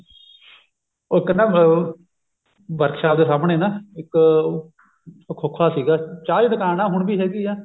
ਉਹ ਕਹਿੰਦਾ ਉਹ ਵਰਕਸ਼ਾਪ ਦੇ ਸਾਹਮਣੇ ਨਾ ਇੱਕ ਖੋਖਾ ਸੀਗਾ ਚਾਹ ਦੀ ਦੁਕਾਨ ਨਾ ਹੁਣ ਵੀ ਹੈਗੀ ਆ